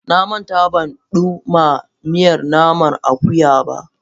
Na manta ban ɗumma miyar naman akuya ba.